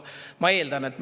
Ma eeldan küll.